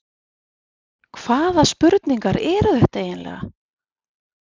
Hvaða spurningar eru þetta eiginlega?